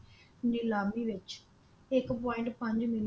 ਨਿਲਾਮੀ ਵਿਚ ਇੱਕ ਪੁਆਇੰਟ ਪੰਜ ਮਿਲੀਅਨ ਡਾਲਰ